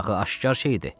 Axı aşkar şeydir.